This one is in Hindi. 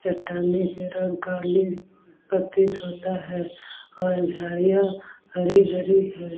चट्टानें की रंग काली प्रतीत होता हैऔर झाड़िया हरी-हरी है।